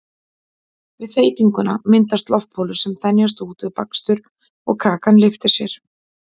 við þeytinguna myndast loftbólur sem þenjast út við bakstur og kakan lyftir sér